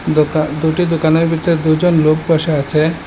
দোকা দুটি দোকানের ভিতরে দুজন লোক বসে আছে।